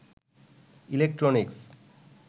electronics